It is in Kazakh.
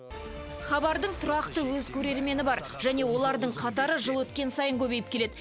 хабардың тұрақты өз көрермені бар және олардың қатары жыл өткен сайын көбейіп келеді